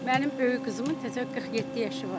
Mənim böyük qızımın təzə 47 yaşı var.